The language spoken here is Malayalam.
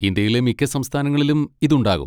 ഇന്ത്യയിലെ മിക്ക സംസ്ഥാനങ്ങളിലും ഇത് ഉണ്ടാകും.